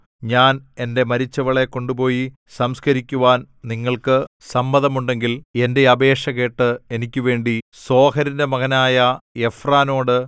ഞാൻ എന്റെ മരിച്ചവളെ കൊണ്ടുപോയി സംസ്കരിക്കുവാൻ നിങ്ങൾക്ക് സമ്മതമുണ്ടെങ്കിൽ എന്റെ അപേക്ഷ കേട്ട് എനിക്കുവേണ്ടി സോഹരിന്റെ മകനായ എഫ്രോനോട്